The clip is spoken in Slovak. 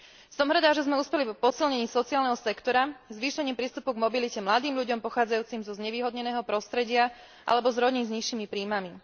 Som rada, že sme uspeli v posilnení sociálneho sektora zvýšením prístupu k mobilite mladým ľuďom pochádzajúcim zo znevýhodneného prostredia alebo z rodín s nižšími príjmami.